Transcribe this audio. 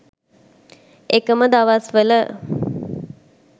එකම දවස්වල